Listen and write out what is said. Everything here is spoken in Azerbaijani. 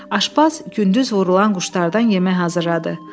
Aşbaz gündüz vurulan quşlardan yemək hazırladı.